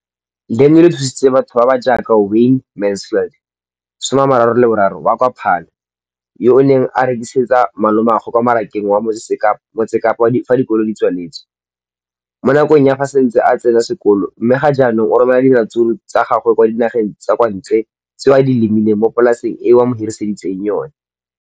Leno le thusitse batho ba ba jaaka Wayne Mansfield, 33, wa kwa Paarl, yo a neng a rekisetsa malomagwe kwa Marakeng wa Motsekapa fa dikolo di tswaletse, mo nakong ya fa a ne a santse a tsena sekolo, mme ga jaanong o romela diratsuru tsa gagwe kwa dinageng tsa kwa ntle tseo a di lemileng mo polaseng eo ba mo hiriseditseng yona.